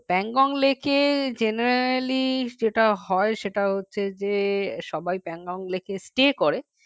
Pangonglake এ generally যেটা হয় সেটা হচ্ছে যে সবাই Pangonglake এ stay